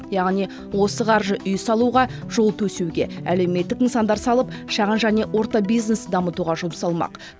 яғни осы қаржы үй салуға жол төсеуге әлеуметтік нысандар салып шағын және орта бизнес дамытуға жұмсалмақ